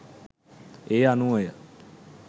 ඒ අනුවය.